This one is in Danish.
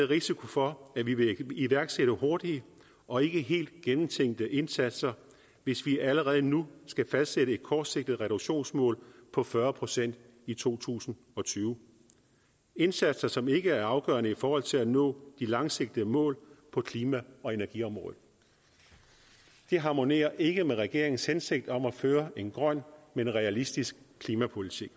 risiko for at vi vil iværksætte hurtige og ikke helt gennemtænkte indsatser hvis vi allerede nu skal fastsætte et kortsigtet reduktionsmål på fyrre procent i to tusind og tyve indsatser som ikke er afgørende i forhold til at nå de langsigtede mål på klima og energiområdet det harmonerer ikke med regeringens hensigt om at føre en grøn men realistisk klimapolitik